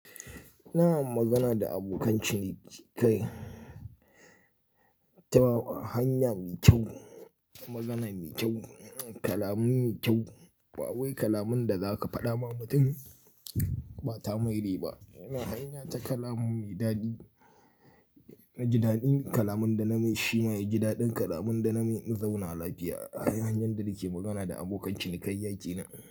Ina magana da abokan ciniki ta hanyar mi kyau, magana mai kyau, kalaman mai kyau. Ba wai kalaman da za ka faɗa wa mutum bata mai riba. Ina hanya ta kalaman mai dadi, jidaɗin kalaman da na mai shima'i, jidaɗin kalaman da na mai zauna lafiya. Hanyar da yake magana da abokan cinikayya kenan.